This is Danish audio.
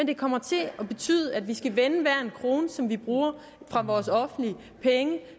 det kommer til at betyde at vi skal vende hver en krone som vi bruger af vores offentlige penge